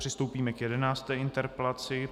Přistoupíme k jedenácté interpelaci.